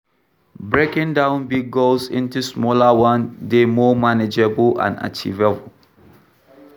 Breaking down big goals into smaller one dey more manageable and achievable.